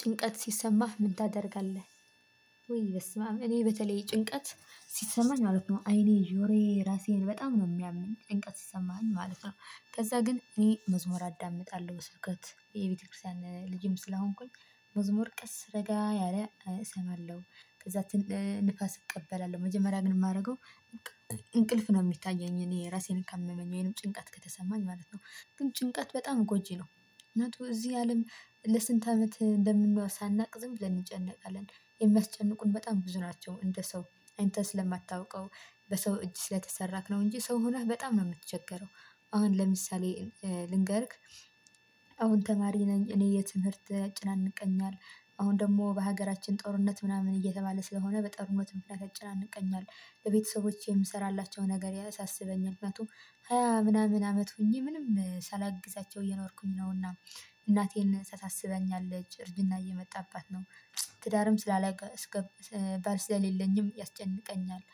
ጭንቀት ሲሰማህ ምን ታደርጋለህ? ውይ በስማም እኔ በተለይ ጭንቀት ሲሰማኝ ማለት ነው አይኔ ጆሮዬን ራሴን በጣም ነው የሚያመኝ ጭንቀት ሲሰማኝ ማለት ነው። ከዛ ግን እኔ መዝሙር አዳምጣለሁ ስብከት የቤተክርስቲያን ልጅም ስለሆንኩኝ መዝሙር ቀስ ረጋ ያለ እሰማለሁ። ከዛ ትን ነፋስ እቀበላለሁ መጀመሪያ ግን ማረገው። እንቅልፍ ነው የሚታየኝ እኔ እራሴን ካመመኝ ወይም ጭንቀት ከተሰማኝ ማለት ነው። ግን ጭንቀት በጣም ጎጂ ነው። እውነት እዚህ አለም ለስንት አመት እንደምንሆን ሳናውቅ ዝም ብለን እንጨነቃለን። የሚያስጨንቁን በጣም ብዙ ናቸው። እንደ ሰው አንተ ስለማታውቀው በሰው እጅ ስለተሰራክ ነው እንጂ ሰው ሆነህ በጣም ነው የምትቸገረው። አሁን ለምሳሌ ልንገርክ። አሁን ተማሪ ነኝ እኔ የትምህርት ያጨናንቀኛል። አሁን ደግሞ በሀገራችን ጦርነት ምናምን እየተባለ ስለሆነ በጣም ሞትም ያጨናንቀኛል። በቤተሰቦቼ የምሰራላቸው ነገር ያሳሰበኛል ምክንያቱም ሃያ ምናምን አመት ሆኜ ምንም ሳላግዛቸው እየኖርኩኝ ነውና። እናቴን ታሳስበኛለች እርጅና እየመጣባት ነው። ትዳርም ስላላገ እስከ ባል ስለሌለኝም ያስጨንቀኛል።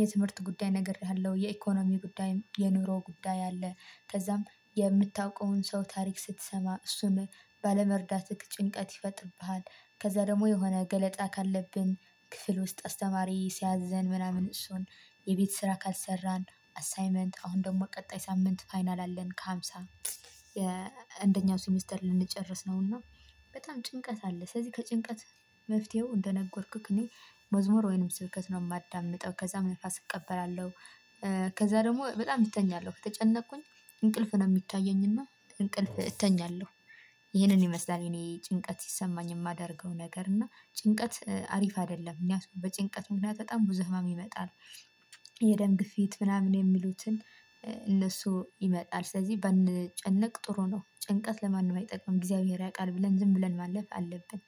የትምህርት ጉዳይ ነግሬሃለሁ የኢኮኖሚ ጉዳይም የኑሮ ጉዳይ አለ። ከዛም የምታውቀውን ሰው ታሪክ ስትሰማ እሱን ባለመርዳትህ ጭንቀት ይፈጥርብሃል። ከዛን ደግሞ የሆነ ገለጻ ካለብን ክፍል ውስጥ አስተማሪ ሲያዘን ምናምን። የቤት ስራ ካልሰራን አሳይመንት አሁን ደግሞ ቀጣይ ሳምንት ፋይናል አለን ከሃምሳ የአንደኛው ሴሚስተር ልንጨርስ ነውና። በጣም ጭንቀት አለ። ስለዚህ ከጭንቀት መፍትሄው እንደነገርኩክ እኔ መዝሙር ወይንም ስብከት ነው የማዳምጠው ከዛም መንፈስ እቀበላለሁ። ከዛ ደግሞ በጣም እተኛለሁ ከተጨነቅኩኝ እንቅልፍ ነው የሚታየኝና እንቅልፍ እተኛለሁ። ይሄንን ይመስላል እኔ ጭንቀት ሲሰማኝ የማደርገው ነገር እና ጭንቀት እ አሪፍ አይደለም እኛ ሰው በጭንቀት ምክንያት በጣም ብዙ ህመም ይመጣል። የደም ግፊት ምናምን የሚሉትን እ እነሱ ይመጣል ስለዚህ ባንጨነቅ ጥሩ ነው። ጭንቀት ለማንም አይጠቅምም እግዚአብሔር ያውቃል ብለን ማለፍ አለብን።